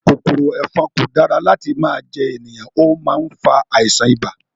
Kòkòrò ẹ̀fọn kò dára láti máa jẹ ènìyàn, ó má ń fa àìsàn ibà